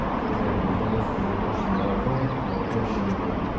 блядь да наконец-то закончен марафон и окончен бой